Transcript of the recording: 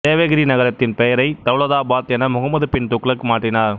தேவகிரி நகரத்தின் பெயரை தௌலதாபாத் என முகமது பின் துக்ளக் மாற்றினார்